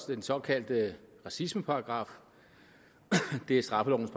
den såkaldte racismeparagraf det er straffelovens